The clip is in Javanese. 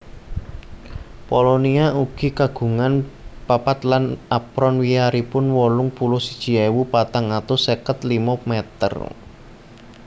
Polonia ugi kagungan papat lan apron wiyaripun wolung puluh siji ewu patang atus seket limo meter